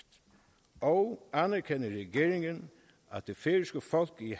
og anerkender regeringen at det færøske folk i